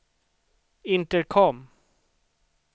intercom